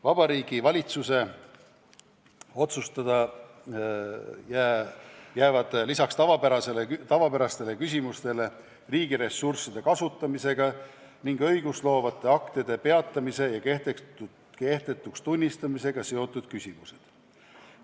Vabariigi Valitsuse otsustada jäävad lisaks tavapärastele küsimustele riigiressursside kasutamisega ning õigustloovate aktide peatamise ja kehtetuks tunnistamisega seotud küsimused.